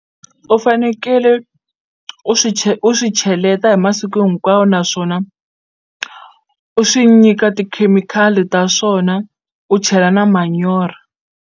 U fanekele u swi u swi cheleta hi masiku hinkwawo naswona u swi nyika tikhemikhali ta swona u chela na manyoro.